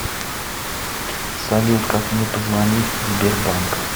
салют как мне позвонить сбер банк